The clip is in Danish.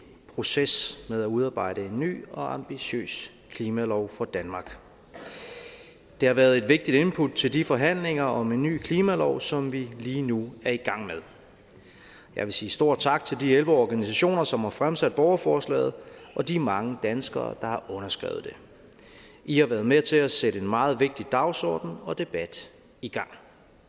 proces med at udarbejde en ny og ambitiøs klimalov for danmark det har været et vægtigt input til de forhandlinger om en ny klimalov som vi lige nu er i gang med jeg vil sige stor tak til de elleve organisationer som har fremsat borgerforslaget og de mange danskere der har underskrevet det i har været med til at sætte en meget vigtig dagsorden og debat i gang